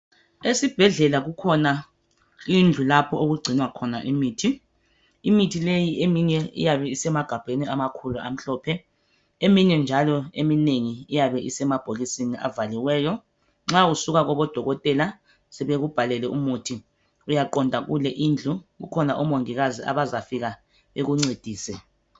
Esibhedlela kukhona indlu lapho okugcinwa khona imithi imithi leyi eminye iyabe isemagabheni amakhulu amhlophe eminye njalo eminengi iyabe isemabhokisini avaliweyo nxa usuka kobo dokotela sebekubhalele umuthi uyaqonda kule indlu kukhona omongikazi abazafika bekuncedise.